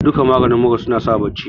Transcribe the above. duka maganin mura nasa bacci